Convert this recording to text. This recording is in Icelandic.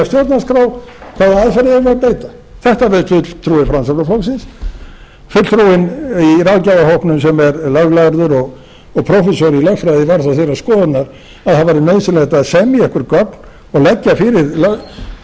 stjórnarskrá frá allherjarnend þetta vill fulltrúi framsóknarflokksins fulltrúinn í ráðgjafarhópnum sem er löglærður og prófessor í lögfræði var þó þeirrar skoðunar að það væri nauðsynlegt að semja einhver gögn og leggja